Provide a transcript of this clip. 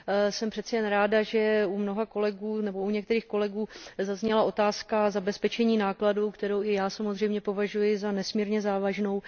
Jsem přeci jen ráda, že u některých kolegů zazněla otázka zabezpečení nákladu, kterou i já samozřejmě považuji za nesmírně závažnou.